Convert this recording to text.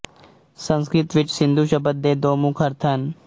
ਸੰਸਕ੍ਰਿਤ ਵਿੱਚ ਸਿੰਧੁ ਸ਼ਬਦ ਦੇ ਦੋ ਮੁੱਖ ਅਰਥ ਹਨ